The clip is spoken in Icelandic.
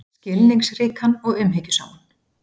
Skilningsríkan og umhyggjusaman.